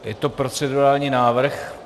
Je to procedurální návrh.